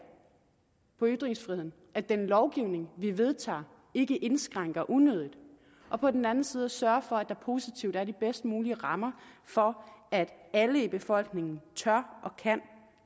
på ytringsfriheden at den lovgivning vi vedtager ikke indskrænkende og på den anden side at sørge for at der positivt findes de bedst mulige rammer for at alle i befolkningen tør og kan